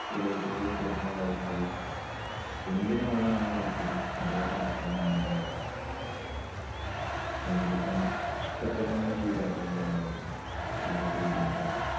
ചില കുട്ടികൾ sports നോടായിരിക്കും കഴിവ്. എന്തിനോടാണോ താല്പര്യം അതിലോട്ട് ആ കുട്ടിയെ മുന്നോട്ട് നയിക്കുക. എങ്കിലേ കാരണം ഇഷ്ടപെട്ടന്നത് ചെയ്താലേ എന്തുണ്ടാവുള്ളൂ അതിലോട്ട് വിജയം ഉണ്ടാവുള്ളൂ.